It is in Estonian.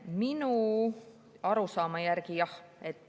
Minu arusaama järgi jah.